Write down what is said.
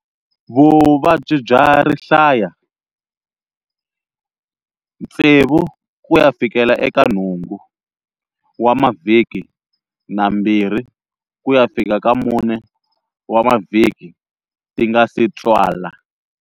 Vuvabyi bya rihlaya, 6-8 wa mavhiki na 2-4 wa mavhiki ti nga si tswala.